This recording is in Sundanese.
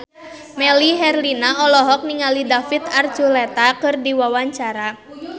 Melly Herlina olohok ningali David Archuletta keur diwawancara